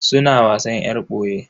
Suna wasan yar boye.